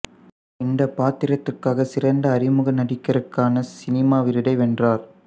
இந்த பாத்திரத்திற்காக சிறந்த அறிமுக நடிகருக்கான சிமா விருதை வென்றார்